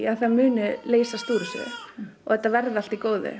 að það muni leysast úr þessu og þetta verði allt í góðu